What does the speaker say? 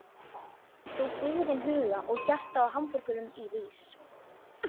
Þú byggðin huga og hjarta á hamraborgum rís.